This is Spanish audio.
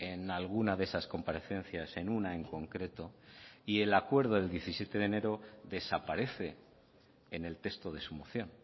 en alguna de esas comparecencias en una en concreto y el acuerdo del diecisiete de enero desaparece en el texto de su moción